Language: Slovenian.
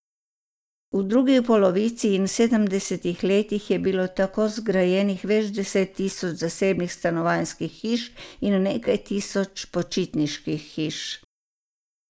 V drugi polovici in v sedemdesetih letih je bilo tako zgrajenih več deset tisoč zasebnih stanovanjskih hiš in nekaj tisoč počitniških hiš.